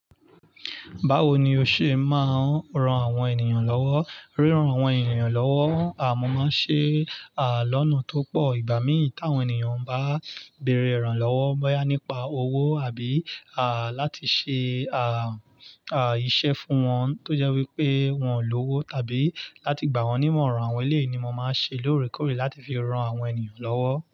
Báwo ni o ṣe máa ń ran àwọn ènìyàn lọ́wọ́? Ríran àwọn ènìyàn lọ́wọ́ aa mo máa ń ṣe ní ọ̀nà tí ó pọ̀. Ìgbà mí ì táwọn ènìyàn bá bẹ̀rẹ̀ ìrànlọ́wọ́, bóyá nípa owó àbí, à, láti ṣe, à, à, iṣẹ́ fún wọn tó jẹ́ wípé wọ́n ò ní owó tàbí láti gbà wọ́n nímọ̀ràn àwọn eléyì ni mo máa ń ṣe lóòrèkóòrè láti fi ran àwọn ènìyàn lọ́wọ́.